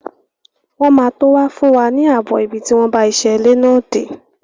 Wọ́n máa tó wá fún wa ààbọ̀ ibi tí wọ́n bá iṣẹ́ ilé náà dé.